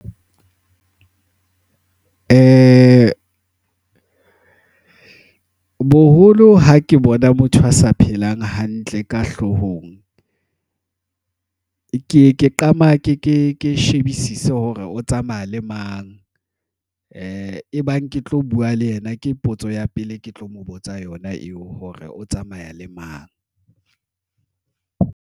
Boholo ha ke bona motho a sa phelang hantle ka hlohong ke ye ke ke shebisise hore o tsamaya le mang e bang ke tlo bua le yena. Ke potso ya pele, ke tlo mo botsa yona eo hore o tsamaya le mang.